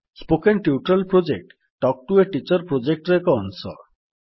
spoken tutorial project talk to a teacher ପ୍ରୋଜେକ୍ଟର ଏକ ଅଂଶ